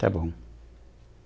Está bom.